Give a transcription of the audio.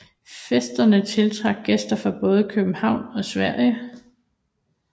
Festerne tiltrak gæster fra både København og Sverige